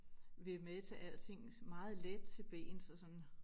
Vil med til alting meget let til bens og sådan